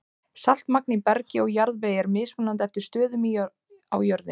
Saltmagn í bergi og jarðvegi er mismunandi eftir stöðum á jörðinni.